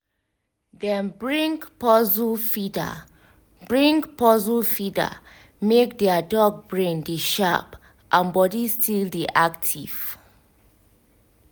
dem bring puzzle feeder bring puzzle feeder make their dog brain dey sharp and body still dey active